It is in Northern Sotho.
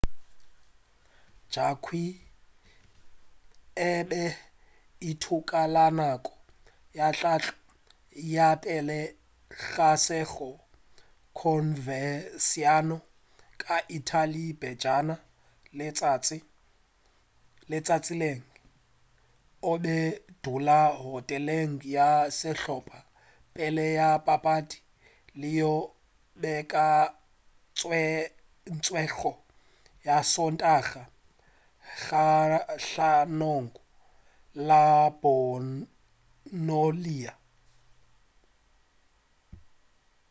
jarque e be e ithuta ka nako ya tlhahlo ya pele ga sehla converciano ka italy pejana letšatšing o be a dula hoteleng ya sehlopha pele ga papadi yeo e beakantšwego ya sontaga kgahlanong le bolonia